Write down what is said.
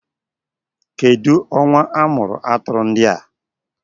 Kedụ ọnwa amụrụ atụrụ ndị a?